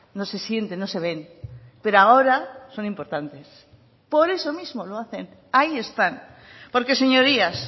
no se sienten no se ven pero ahora son importantes por eso mismo lo hacen ahí están porque señorías